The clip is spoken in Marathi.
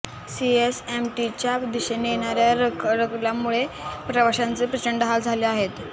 सीएसएमटीच्या दिशेने येणाऱ्या रखडल्यामुळे प्रवाशांचे प्रचंड हाल झाले आहेत